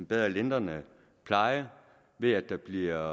bedre lindrende pleje ved at der bliver